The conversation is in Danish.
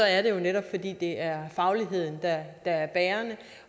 er jo netop fordi det er fagligheden der er bærende